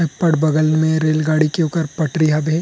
थपड़ बगल में रेल गाड़ी के ओकर पटरी हवे।